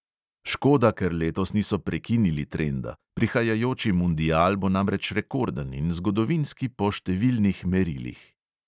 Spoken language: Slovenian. Škoda, ker letos niso prekinili trenda, prihajajoči mundial bo namreč rekorden in zgodovinski po številnih merilih.